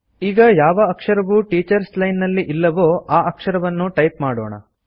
ಈಗ ಯಾವ ಅಕ್ಷರವು ಟೀಚರ್ಸ್ ಲೈನ್ ನಲ್ಲಿ ಇಲ್ಲವೋ ಆ ಅಕ್ಷರವನ್ನು ಟೈಪ್ ಮಾಡೋಣ